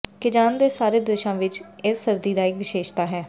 Kazan ਦੇ ਸਾਰੇ ਦ੍ਰਿਸ਼ਾਂ ਵਿਚ ਇਸ ਸਰਦੀ ਦਾ ਇਕ ਵਿਸ਼ੇਸ਼ਤਾ ਹੈ